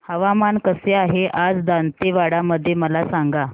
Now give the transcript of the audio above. हवामान कसे आहे आज दांतेवाडा मध्ये मला सांगा